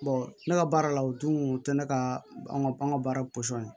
ne ka baara la o dun tɛ ne ka bagan ye